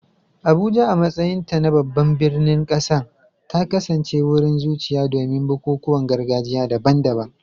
Abuja, a matsayinta na babban birnin ƙasar, ta kasance wurin zuciya domin bukukuwan gargajiya daban-daban.